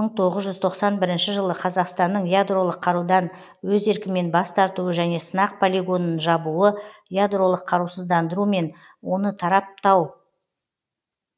мың тоғыз жүз тоқсан бірінші жылы қазақстанның ядролық қарудан өз еркімен бас тартуы және сынақ полигонын жабуы ядролық қарусыздандыру мен оны тараптау